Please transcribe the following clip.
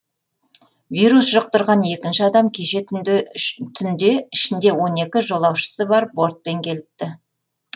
вирус жұқтырған екінші адам кеше түнде ішінде он екі жолаушысы бар бортпен келіпті